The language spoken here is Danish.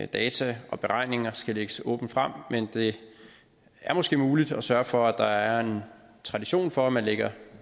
data og beregninger skal lægges åbent frem men det er måske muligt at sørge for at der er en tradition for at man lægger